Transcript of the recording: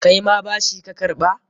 Kaima bashi ka karɓa?